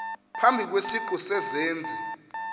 phambi kwesiqu sezenzi